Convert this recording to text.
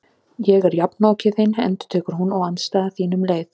Ég er jafnoki þinn endurtekur hún, og andstæða þín um leið.